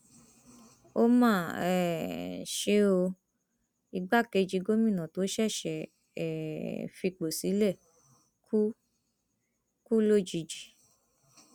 ó mà um ṣe o igbákejì gómìnà tó ṣẹṣẹ um fipò sílẹ kù kù lójijì